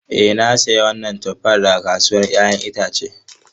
Ee na sayi wannan tuffan daga kasuwar 'ya'yan itace.